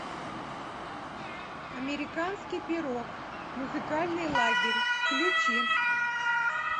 американский пирог музыкальный лагерь включи